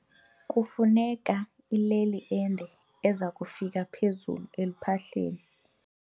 Kufuneka ileli ende eza kufika phezulu eluphahleni.